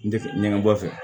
N tɛ ɲɛgɛn bɔ a fɛ